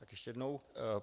Tak ještě jednou.